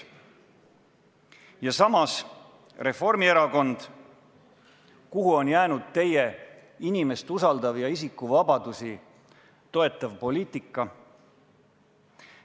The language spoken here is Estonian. Ja samas, Reformierakond, kuhu on jäänud teie inimest usaldav ja isikuvabadusi toetav poliitika?